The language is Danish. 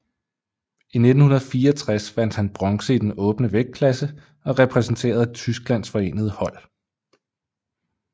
I 1964 vandt han bronze i den åbne vægtklasse og repræsenterede Tysklands forenede hold